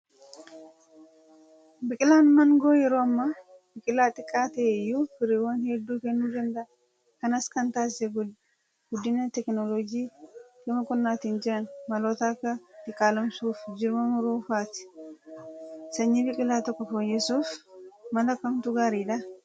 Biqilaan maangoo yeroo ammaa biqilaa xiqqaa ta'eeyyuu firiiwwan hedduu kennuu danda'a. Kanas kan taasise guddina teekinooloojii gama qonnaatiin jiran maloota akka diqaalomsuu fi jirma muruu f'aati. Sanyii biqilaa tokkoo fooyyessuuf mala kamtu gaariidhaa?